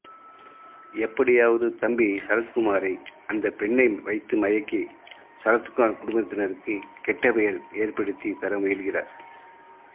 எப்படியாவது தம்பி சரத்குமாரை அந்த பெண்ணை வைத்து மயக்கி சரத்குமார் குடும்பத்தினர்க்கு கெட்ட பெயர் ஏற்படுத்தி தர முயல்கிறார்